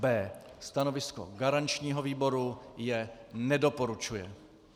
B. Stanovisko garančního výboru je - nedoporučuje.